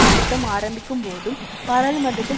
கூட்டம் ஆரம்பிக்கும்போதும் பாராளுமன்றத்தில்